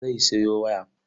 Zai sayo waya.